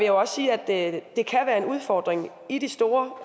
jo også sige at det kan være en udfordring i de store